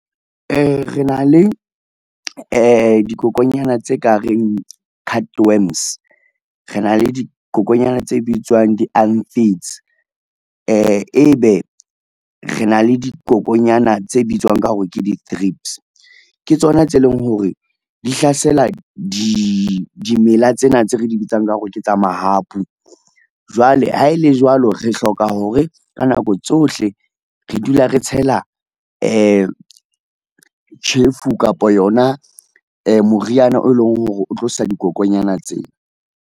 Re na le dikokonyana tse ka reng cut worms, rena le dikokonyana tse bitswang di-aphids, ebe re na le dikokonyana tse bitswang ka hore ke di-thrips, ke tsona tse leng hore di hlasela di dimela tsena tse re di bitsang ka hore ke tsa mahapu. Jwale ha ele le jwalo, re hloka hore ka nako tsohle re dula re tshela tjhefu kapo yona moriana o leng hore o tlo sa dikokonyana tsena.